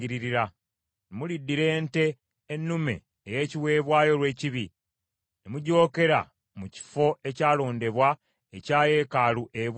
Muliddira ente ennume ey’ekiweebwayo olw’ekibi, ne mugyokera mu kifo ekyalondebwa ekya yeekaalu ebweru w’Awatukuvu.